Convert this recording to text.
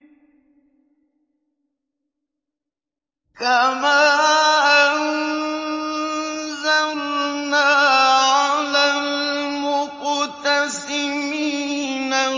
كَمَا أَنزَلْنَا عَلَى الْمُقْتَسِمِينَ